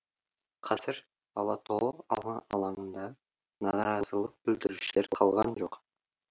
қазір ала тоо алаңында наразылық білдірушілер қалған жоқ